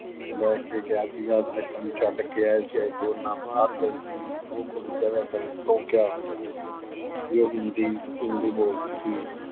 ਲੈ ਕੇ ਗਿਆ ਸੀਗਾ, ਅੱਜ ਤੈਨੂੰ ਛੱਡ ਕੇ ਆਇਆ ਸੀ। ਅੱਜ ਤੂੰ ਉਹਦੇ ਨਾਲ ਬਾਹਰ ਗਈ ਸੀ। ਉਹ ਕੁੜੀ ਕਹਿ ਦਿਆ ਕਰੇ ਤੋਂ ਕਯਾ ਹੋ ਗਯਾ। ਵੀ ਉਹ ਹਿੰਦੀ ਅਹ ਹਿੰਦੀ ਬੋਲਦੀ ਸੀ।